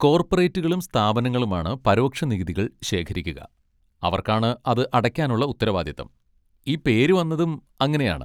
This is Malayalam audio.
കോർപറേറ്റുകളും സ്ഥാപനങ്ങളുമാണ് പരോക്ഷ നികുതികൾ ശേഖരിക്കുക, അവർക്കാണ് അത് അടയ്ക്കാനുള്ള ഉത്തരവാദിത്തം, ഈ പേര് വന്നതും അങ്ങനെയാണ്.